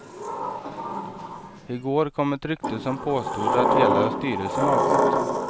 I går kom ett rykte som påstod att hela styrelsen avgått.